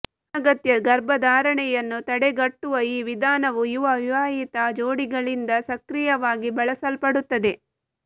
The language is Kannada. ಅನಗತ್ಯ ಗರ್ಭಧಾರಣೆಯನ್ನು ತಡೆಗಟ್ಟುವ ಈ ವಿಧಾನವು ಯುವ ವಿವಾಹಿತ ಜೋಡಿಗಳಿಂದ ಸಕ್ರಿಯವಾಗಿ ಬಳಸಲ್ಪಡುತ್ತದೆ